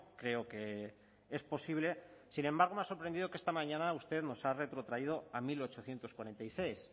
creo que es posible sin embargo me ha sorprendido que esta mañana usted nos ha retrotraído a mil ochocientos cuarenta y seis